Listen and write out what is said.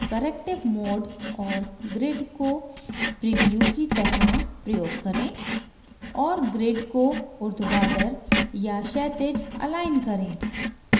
corrective mode और grid को preview की तरह प्रयोग करें और grid को उर्ध्वाधर या क्षैतिज अलाइन करें